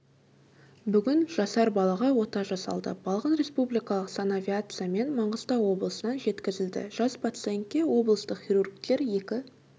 бүгін жасар балаға ота жасалды балғын республикалық санавиациямен маңғыстау облысынан жеткізілді жас пациентке облыстық хирургтер екі